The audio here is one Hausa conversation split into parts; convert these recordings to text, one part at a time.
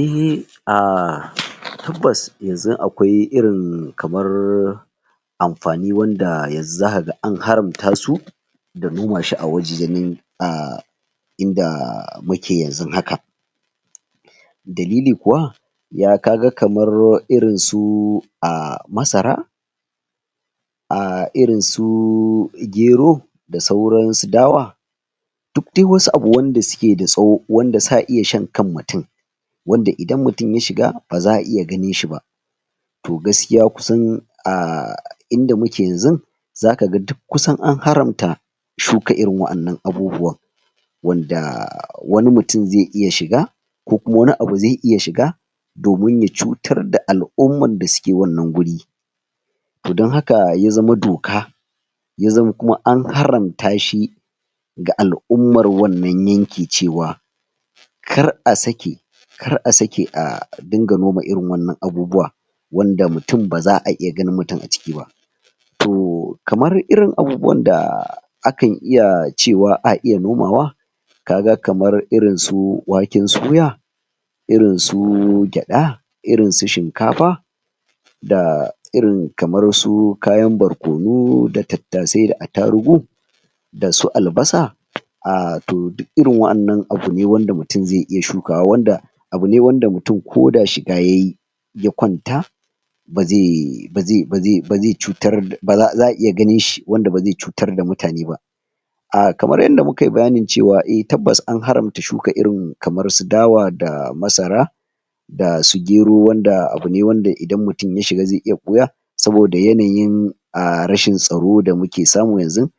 Eh Um tabbas yanzun akwai irin kamar amfani wanda yanzu zakaga an haramta su da noma shi a wajejennin um inda muke yanzun haka dalili kuwa ya kaga kamar irinsu um masara um irinsu gero da sauran su dawa duk wasu abu wanda suke da tsaho, wanda sa iya shan kan mutum wanda idan mutum ya shiga ba za'a iya ganin shi ba to gaskiya kusan a inda muke yanzun zakaga duk kusan an haramta shuka irin wa'annan abubuwan wanda wani mutum zai iya shiga ko kuma wani abu zai iya shiga domin ya cutar da al'ummar dasuke wannan guri to don haka ya zama doka ya zama kuma an haramta shi ga al'ummar wannan yanki cewa kar a sake kar a sake a dinga noma irin wannan abubuwa wanda mutum ba za'a iya ganin mutum a ciki ba to, kamar irin abubuwan da akan iya cewa a iya nomawa kaga kamar irin su waken suya irin su gyaɗa irin su shinkafa da irin kamar su kayan barkono da tattasai da attarugu da su albasa um to duk irin wa'annan abu ne wanda mutum zai iya shukawa wanda abu ne wanda mutum ko da shiga yayi ya kwanta ba zai ba zai ba zai ba zai cutar ba za'a za'a iya ganin shi ,wanda ba zai iya cutar da mutane ba A kamar yanda mukayi bayanin cewa, eh tabbas an haramta shuka irin kamar su dawa da masara da su gero, wanda abu ne wanda idan mutum ya shiga zai iya ɓuya saboda yanayin um rashin tsaro da muke samu yanzun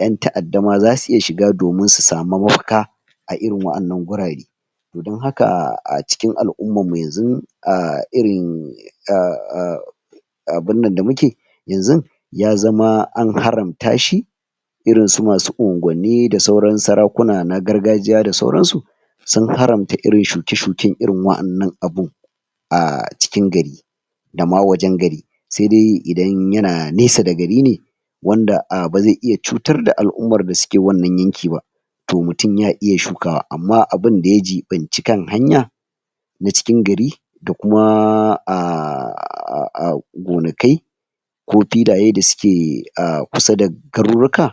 ƴan ta'adda ma za su iya shiga domin su samu mafaka a irin wa'annan gurare to don haka a cikin al'ummar mu yanzun um um um um abun nan da muke yanzun ya zama an haramta shi irin su masu unguwanni da sauran sarakuna na gargajiya da sauransu sun haramta irin shuke-shuken irin wa'annan abun a cikin gari da ma wajen gari sai dai idan yana nesa da gari ne wanda um ba zai iya cutar da al'ummar da suke wannan yanki ba to mutum ya iya shukawa, amma abinda ya jiɓanci kan hanya da cikin gari da kuma um um um gonakai ko filaye da suke umm kusa da garurruka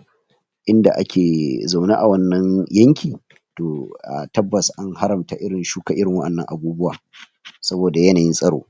inda ake zaune a wannan yanki to tabbas an haramta irin shuka irin wa'annan abubuwa saboda yanayin tsaro.